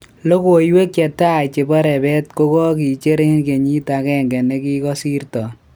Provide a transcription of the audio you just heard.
Logowek che tai chepo rrepet kokokicher en keyit agenge nikokosirton